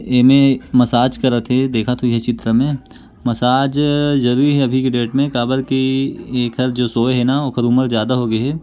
ये मेर मसाज करत थे देखत होइह ये चित्र में मसाज जरूरी हेअभी के डेट में कबर की येकर जो सोए हे ना वोकर उमर ज्यादा हो गेहे।